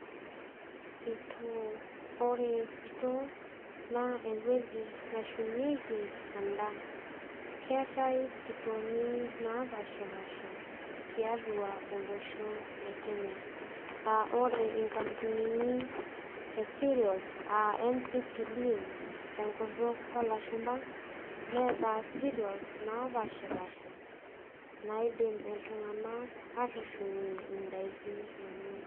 Sitoo ore sitoo na ore sitoo na ewueji nashumiek endaa keetae sitooni napashipasha tiatua olosho lekenya a ore nkampunini e cereals a ncpc tenkutuk olashumba neeta cereals napashipasha naidim ltunganak atushumie ndakini enye.